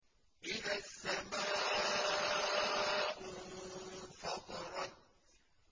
إِذَا السَّمَاءُ انفَطَرَتْ